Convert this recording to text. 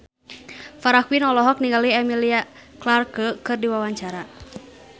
Farah Quinn olohok ningali Emilia Clarke keur diwawancara